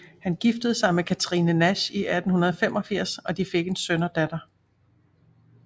Han giftede sig med Katherine Nash i 1885 og de fik en søn og datter